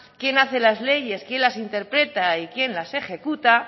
quién hace las leyes quién las interpreta y quién las ejecuta